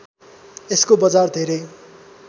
यसको बजार धेरै